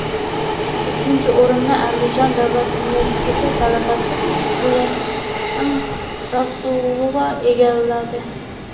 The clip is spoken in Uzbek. Ikkinchi o‘rinni Andijon Davlat universiteti talabasi Gulsanam Rasulova egalladi.